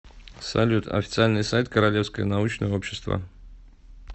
салют официальный сайт королевское научное общество